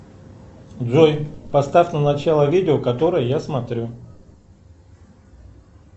джой поставь на начало видео которое я смотрю